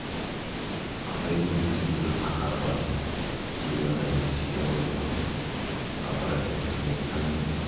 атайдың белгісіз бір қаһары бартын тегін адам емес екен ғой бұл атай апырай не айтсам екен